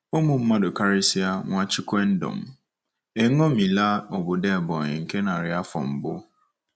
Ụmụ mmadụ, karịsịa Nwachukwuendom, eṅomila obodo Ebonyi nke narị afọ mbụ.